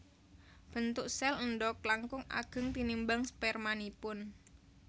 Bentuk sèl endhog langkung ageng tinimbang spermanipun